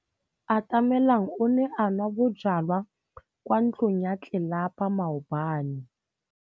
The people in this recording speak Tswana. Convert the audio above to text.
Atamelang o ne a nwa bojwala kwa ntlong ya tlelapa maobane.